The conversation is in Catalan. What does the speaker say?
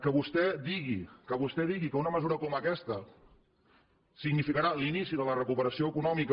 que vostè digui que vostè digui que una mesura com aquesta significarà l’inici de la recuperació econòmica